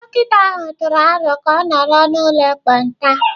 Dọkịta ahụ tụrụ aro ka a nọrọ n'ụlọ ekpenta?